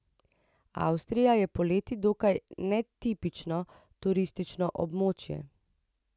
Avstrija je poleti dokaj netipično turistično območje.